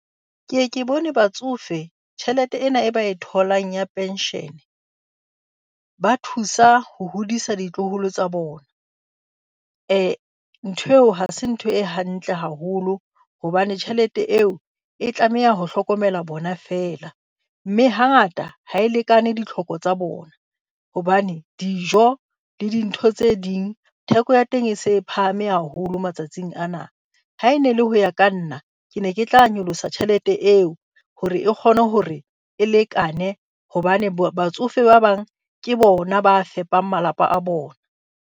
Ke e ke bone batsofe tjhelete ena e ba e tholang ya pension ba thusa ho hodisa ditloholo tsa bona. Ntho eo ha se ntho e hantle haholo, hobane tjhelete eo e tlameha ho hlokomela bona feela. Mme hangata ha e lekane ditlhoko tsa bona, hobane dijo le dintho tse ding theko ya teng e se e phahame haholo matsatsing ana. Ha e ne e le ho ya ka nna ke ne ke tla nyolosa tjhelete eo hore e kgone hore e lekane hobane batsofe ba bang ke bona ba fepang malapa a bona.